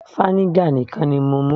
vinegar nìkan ni mo mú